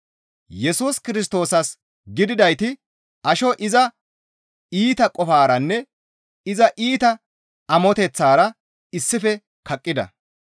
Yesus Kirstoosas gididayti asho iza iita qofaaranne iza iita amoteththaara issife kaqqida.